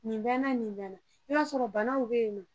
Nin bɛ n na nin bɛ n na i b'a sɔrɔ bana dɔw bɛ yen na